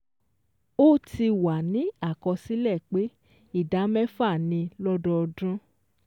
Ó ti wà ní àkọsílẹ̀ pé ìdá mẹ́fà ni lọ́dọọdún